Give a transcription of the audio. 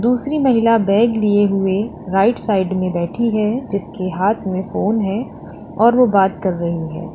दूसरी महिला बैग लिए हुए राइट साइड में बैठी है जिसके हाथ में फोन है और वो बात कर रही है।